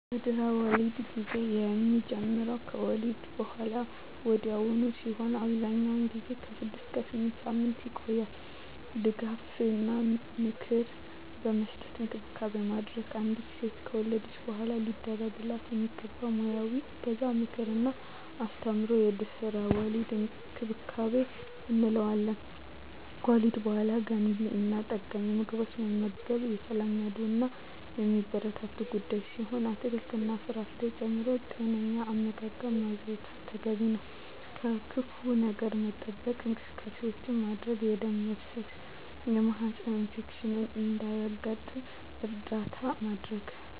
የድህረ-ወሊድ ጊዜ የሚጀምረው ከወሊድ በሃላ ወዲያውኑ ሲሆን አብዛኛውን ጊዜ ከ6 እስከ 8 ሳምንታት ይቆያል ድጋፍ እና ምክር በመስጠት እንክብካቤ ማድረግ። አንዲት ሴት ከወለደች በሃላ ሊደረግላት የሚገቡ ሙያዊ እገዛ ምክር እና አስተምሮ የድህረ-ወሊድ እንክብካቤ እንለዋለን። ከወሊድ በሃላ ገንቢ እና ጠጋኝ ምግቦችን መመገብ የተለመዱ እና የሚበረታቱ ጉዳይ ሲሆን አትክልት እና ፍራፍሬ ጨምሮ ጤነኛ አመጋገብ ማዘውተር ተገቢ ነው። ከክፋ ነገር ለመጠበቅ እንቅስቃሴዎች ማድረግ የደም መፍሰስ የማህፀን ኢንፌክሽን እንዳያጋጥም እርዳታ ማድረግ።